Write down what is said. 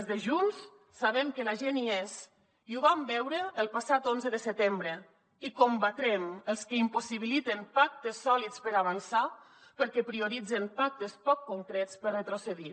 els de junts sabem que la gent hi és i ho vam veure el passat onze de setembre i combatrem els que impossibiliten pactes sòlids per avançar perquè prioritzen pactes poc concrets per retrocedir